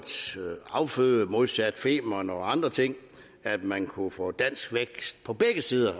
afføde modsat femern og andre ting at man kunne få dansk vækst på begge sider